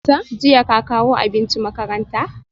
Jiya ka kawo abinci makaranta?